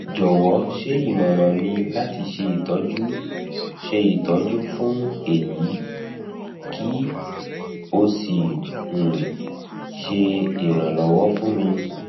jọwọ ṣe imọran mi lati ṣe itọju ṣe itọju fun eyi ki o si um ṣe iranlọwọ fun mi